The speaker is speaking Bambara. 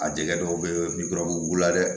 A jɛgɛ dɔw bɛ ye bugu la dɛ